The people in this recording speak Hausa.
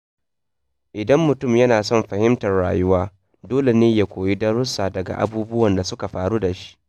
Idan mutum yana son fahimtar rayuwa, dole ne ya koyi darussa daga abubuwan da suka faru da shi.